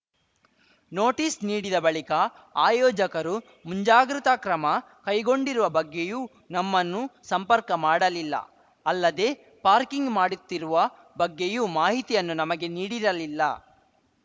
notice ನೀಡಿದ ಬಳಿಕ ಆಯೋಜಕರು ಮುಂಜಾಗೃತ ಕ್ರಮ ಕೈಗೊಂಡಿರುವ ಬಗ್ಗೆಯೂ ನಮ್ಮನ್ನು ಸಂಪರ್ಕ ಮಾಡಲಿಲ್ಲ ಅಲ್ಲದೆ ಪಾರ್ಕಿಂಗ್‌ ಮಾಡುತ್ತಿರುವ ಬಗ್ಗೆಯೂ ಮಾಹಿತಿಯನ್ನು ನಮಗೆ ನೀಡಿರಲಿಲ್ಲ